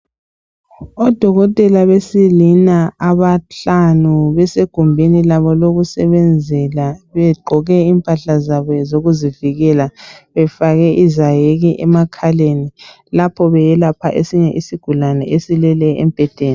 Odokotela besilisa abahlanu besegumbini labo lokusebenzele begqoke impahla zabo zokuzivikela befake izaheke emakhaleni lapho beyelapha esinye isigulane esilele embhedeni.